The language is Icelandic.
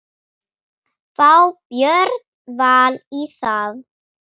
Fá Björn Val í það?